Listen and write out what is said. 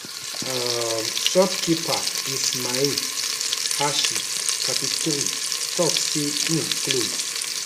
um shopkeeper ismael hashi 33 tok say im close